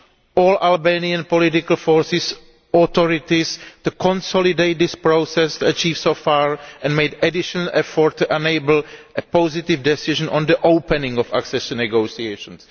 all Albanian political forces and authorities to consolidate this process achieved so far and make an additional effort to enable a positive decision on the opening of accession negotiations.